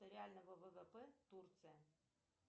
реального ввп турция